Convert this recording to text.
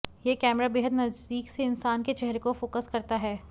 यह कैमरा बेहद नजदीक से इंसान के चेहरे को फोसक करता है